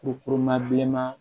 bilenman